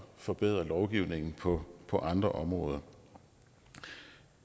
forbedre lovgivningen på på andre områder